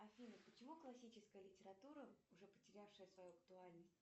афина почему классическая литература уже потерявшая свою актуальность